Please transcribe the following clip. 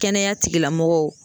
Kɛnɛya tigilamɔgɔw